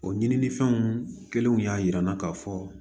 O ɲinifɛnw kelenw y'a jira an na k'a fɔ